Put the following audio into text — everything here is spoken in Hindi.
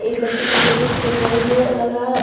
ये बच्ची कुछ जैसे सिल रही है लग रहा है।